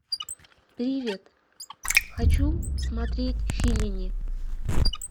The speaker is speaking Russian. привет хочу смотреть феллини